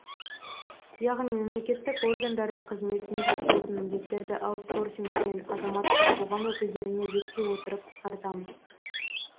яғни мемлекеттік органдардың қызметіне жатпайтын міндеттерді аутсорсинг пен азаматтық қоғам өкілдеріне жүктей отырып қысқартамыз